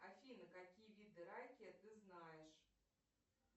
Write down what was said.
афина какие виды ракия ты знаешь